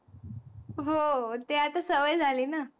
हो, ते आता सवय झाली ना.